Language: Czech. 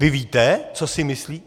Vy víte, co si myslí?